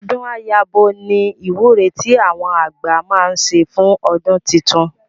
Ọdún á yabo ni ìwúre tí àwọn àgbà máa ń ṣe fún ọdún titun